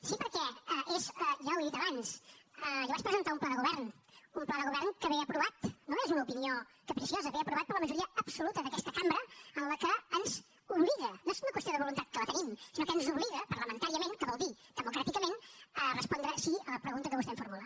sí perquè ja ho he dit abans jo vaig presentar un pla de govern un pla de govern que ve aprovat no és una opinió capriciosa per la majoria absoluta d’aquesta cambra la qual ens obliga no és una qüestió de voluntat que la tenim sinó que ens obliga parlamentàriament que vol dir democràticament a respondre sí a la pregunta que vostè em formula